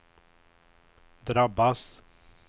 drabbas